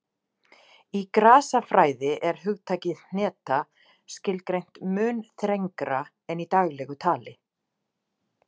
Í grasafræði er hugtakið hneta skilgreint mun þrengra en í daglegu tali.